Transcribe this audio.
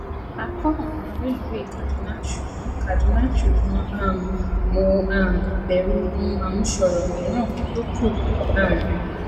a kọ ọnà rélùwéè kaduna ṣùgbọn kaduna ṣùgbọn um mo um bẹrù ohun àmúṣọrò míìran tó kú um